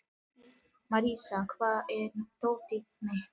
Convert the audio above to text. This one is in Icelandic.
Marísa, hvar er dótið mitt?